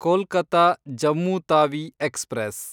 Kolkata-Jammu Tawi express